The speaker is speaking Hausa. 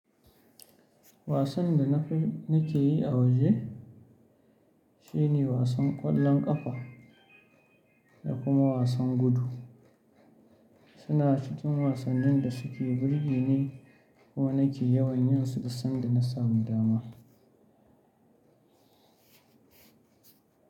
Wasan da na fi, na ke yi a waje, shine wasan ƙwallon ƙafa da kuma wasan gudu. Suna cikin wasannin da suke burge ni ko na ke yawan yin su da sanda na samu dama.